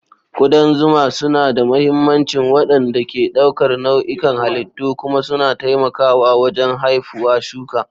Kudan zuma suna da mahimmancin waɗanda ke ɗaukar nau'ikan halittu kuma suna taimakawa wajen haifuwa shuka.